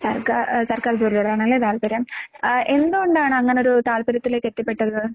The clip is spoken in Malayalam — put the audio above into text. സർക്കാ ഏഹ് സർക്കാർ ജോലിയോടാണല്ലേ താൽപര്യം. ആഹ് എന്തുകൊണ്ടാണ് അങ്ങനൊരു താൽപര്യത്തിലേക്കെത്തിപ്പെട്ടത്?